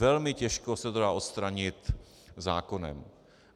Velmi těžko se to dá odstranit zákonem.